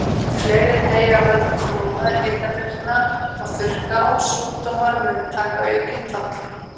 Fleiri deyja af völdum flóða, hitabylgna og þurrka, og sjúkdómar munu taka aukinn toll.